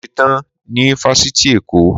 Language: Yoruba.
Mo ṣe tán ní Fásitì Èkó.